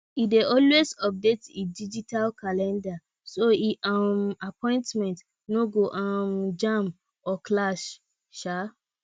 e dey always update e digital calendar so e um appointments no go um jam or clash um